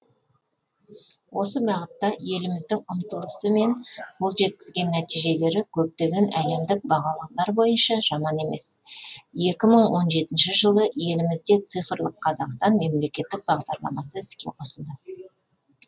осы бағытта еліміздің ұмтылысы мен қол жеткізген нәтижелері көптеген әлемдік бағалаулар бойынша жаман емес екі мың он жетінші жылы елімізде цифрлық қазақстан мемлекеттік бағдарламасы іске қосылды